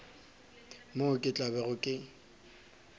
moo ke tla bego ke